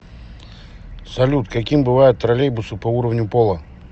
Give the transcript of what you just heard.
салют каким бывают троллейбусы по уровню пола